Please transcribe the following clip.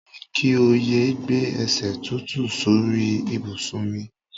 Mo ní kí o yé gbé e̩sè̩ tútù sórí ìbùsùn mi.